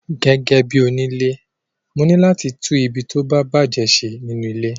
Gẹ́gẹ́bí onile, mo ní láti tún ibi tí ó bá bàjé ṣe nínú ilé.